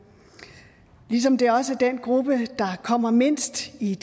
ligesom det også er den gruppe der kommer mindst i